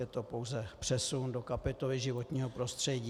Je to pouze přesun do kapitoly životního prostředí.